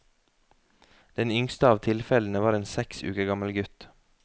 Den yngste av tilfellene var en seks uker gammel gutt.